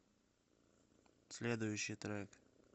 следующий трек